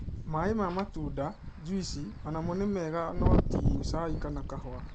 Maĩ ma matũnda( jũicĩ) onamwo nĩ mega no tĩ caĩ kana kahũa